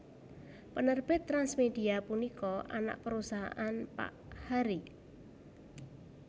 Penerbit TransMedia punika anak perusahaan Pak Harry